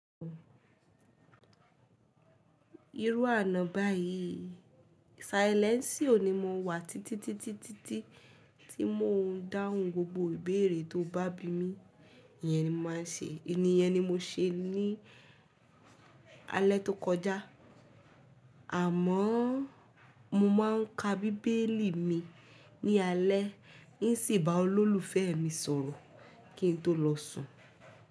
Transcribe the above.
Irú àna báyìí, sailẹnsiò ní mo wà títítítí tí mo ń dáhùn gbogbo ìbéèrè tó bá bi mí, iyẹn ni màá se. Èyí ni mo se ní alẹ́ tó kọjá, àmọ́ mo máa ń ka bíbélì mi ní alẹ́, nsì bá olólùfẹ́ mi sọ̀rọ̀ kí n tó lọ sùn.